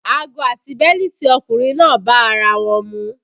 Ago àti bẹ́lítì ọkùnrin náà bá ara wọn mu